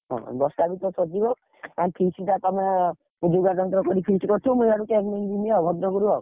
ଦଶ ଟା ଭିତରେ ସରିଯିବ ଆମେ feast ଟା ତମ feast କରିଥିବ ମୁଁ ଇଆଡୁ ଯିବି ଭଦ୍ରକରୁ ଆଉ।